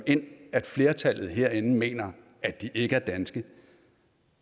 ind at flertallet herinde mener at de ikke er danske